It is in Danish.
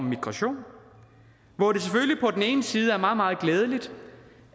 migration hvor det selvfølgelig på den ene side er meget meget glædeligt